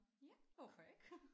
Ja hvorfor ikke